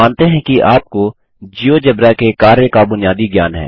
हम मानते हैं कि आपको जियोजेब्रा के कार्य का बुनियादी ज्ञान है